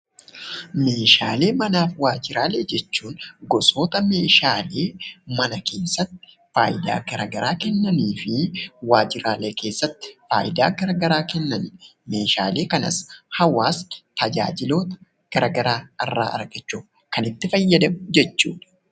Meeshaalee manaaf waajjiraalee jechuun gosoota meeshaa fi mana keessatti faayidaa garagaraa kennaniifii waajjiraalee keessatti faayidaa garaagaraa kennanidha. Meeshaalee kanas hawaasni tajaajiloota garagaraa irraa argachuuf kan itti fayyadamu jechuudha.